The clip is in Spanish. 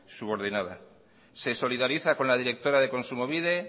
subordinadas se solidariza con la directora de kontsumobide